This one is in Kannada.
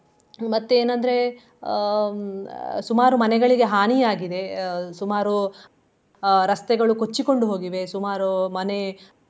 ಮತ್ತೆ ಏನ್ ಅಂದ್ರೆ ಅಹ್ ಸುಮಾರು ಮನೆಗಳಿಗೆ ಹಾನಿಯಾಗಿದೆ ಅಹ್ ಸುಮಾರು ಅಹ್ ರಸ್ತೆಗಳು ಕೊಚ್ಚಿಕೊಂಡು ಹೋಗಿವೆ ಸುಮಾರು ಮನೆ.